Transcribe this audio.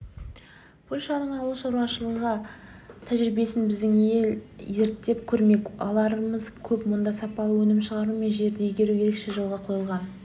польшаның ауыл шаруашылығы тәжірибесін біздің ел зерттеп көрмек аларымыз көп мұнда сапалы өнім шығару мен жерді игеру ерекше жолға қойылған